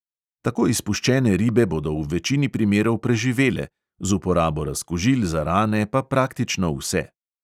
Tako izpuščene ribe bodo v večini primerov preživele, z uporabo razkužil za rane pa praktično vse.